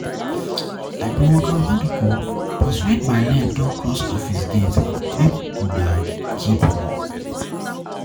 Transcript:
I be a workaholic oo but when my leg don cross office gate make una keep una work.